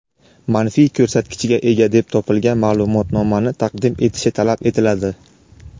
manfiy ko‘rsatkichga ega deb topilgan ma’lumotnomani taqdim etishi talab etiladi;.